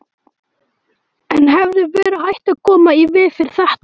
En hefði verið hægt að koma í veg fyrir þetta?